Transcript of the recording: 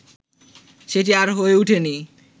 সেটি আর হয়ে উঠেনি